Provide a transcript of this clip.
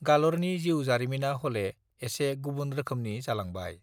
गालरनि जीउ जारिमिना हले एसे गुबुन रोखोमनि जालांबाय